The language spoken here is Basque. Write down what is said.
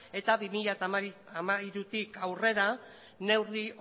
eta bi mila hamairutik aurrera neurri